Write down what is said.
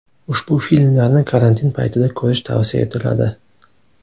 Ushbu filmlarni karantin paytida ko‘rish tavsiya etiladi.